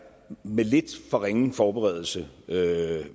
med lidt for ringe forberedelse